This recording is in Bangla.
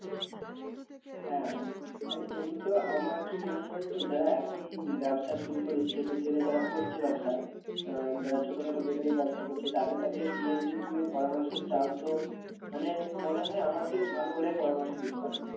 হ্যাঁ আর এমনি তো আমার কি মনে হয় জানো তো যারা এখন ব্যবসা শুরু করেছে বলতে গেলে যারা করছে ব্যবসা আহ যারা ছোটখাটো bakery র ব্যবসা করছে তাদের কাছে গিয়ে যদি পরামর্শ চাও তো মানে মনে হয় আমার থেকে ভালো ওরাই পরামর্শ দিতে পারবে।